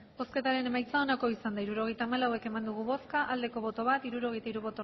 hirurogeita hamalau eman dugu bozka bat bai hirurogeita hiru